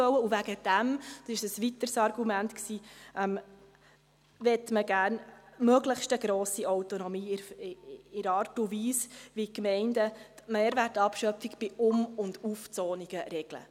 Und deshalb – dies war ein weiteres Argument – will man eine möglichst grosse Autonomie in der Art und Weise, wie die Gemeinden die Mehrwertabschöpfung bei Um- und Aufzonungen regeln.